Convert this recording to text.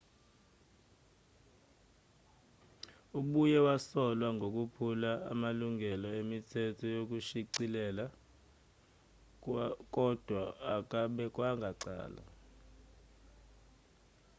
ubuye wasolwa ngokuphula amalungelo emithetho yokushicilela kodwa akabekwanga icala